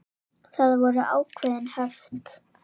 Það voru ákveðin höft.